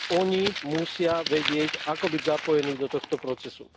Oni musia vedieť, ako byť zapojení do tohto procesu.